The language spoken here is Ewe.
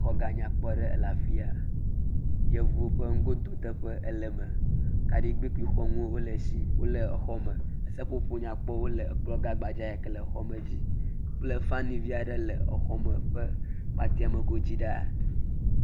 Xɔ gã nyakopɔ aɖe le afi ya, yevuwo ƒe nugododeƒe, kaɖigbɛ…wole exɔ me, seƒoƒo nyakpɔwo wole ekplɔ gã gbadza yike nele exɔ me dzi kple fan vi aɖe le exɔ me ƒe kpateme godzi ɖaa.